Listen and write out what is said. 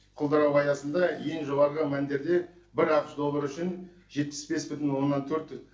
құлдырауы аясында ең жоғарғы мәндерде бір ақш доллары үшін жетпіс бес бүтін оннан төрт